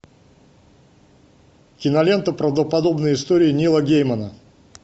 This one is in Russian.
кинолента правдоподобные истории нила геймана